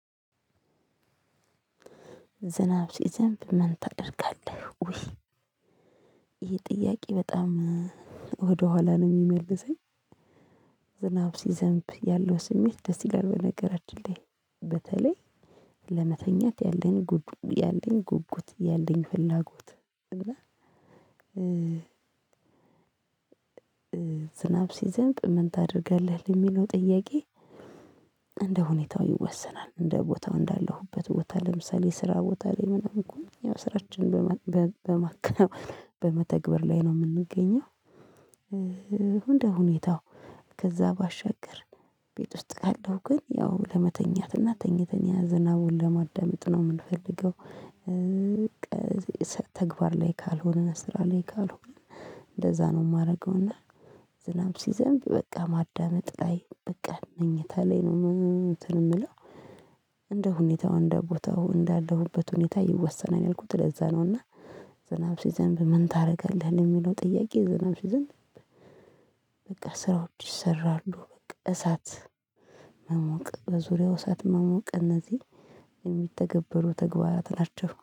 ዝናብ ሲዘንብ ምን ታደርጋለህ? ውይ ይሄ ጥያቄ በጣም ወደኋላ ነው የሚመልሰኝ። ዝናብ ሲዘንብ ያለው ስሜት ደስ ይላል በነገራችን ላይ በተለይ ለመተኛት ያለን ጉጉት ያለን ፍላጎት። እና ዝናብ ሲዘንብ ምን ታደርጋለህ? የሚለው ጥያቄ እንደ ሁኔታው ይወሰናል። እንደ ቦታው እንዳለሁበት ቦታ ለምሳሌ ስራ ቦታ ላይ ምናምን ከሆነ ያው ስራችን በመተግበር ላይ ነው የምንገኘው። እንደ ሁኔታው ከዛ ባሻገር ቤት ውስጥ ካለው ግን ያው ለመተኛትና ተኝተን ያዘናቡን ለማዳመጥ ነው የምንፈልገው። ተግባር ላይ ካልሆነ ስራ ላይ ካልሆነ እንደዛ ነው የማደርገው። እና ዝናብ ሲዘንብ በቃ ማዳመጥ ላይ በቃ መኝታ ላይ ነው እንትን የምለው። እንደ ሁኔታው እንደ ቦታው እንዳለሁበት ሁኔታ ይወሰናል ያልኩት ለዛ ነው። እና ዝናብ ሲዘንብ ምን ታደርጋለህ? የሚለው ጥያቄ ዝናብ ሲዝንብ በቃ ስራዎች ይሰራሉ በቃ እሳት መሞቅ በዙሪያው እሳት መሞቅ እነዚህ የሚተገበሩ ተግባራት ናቸው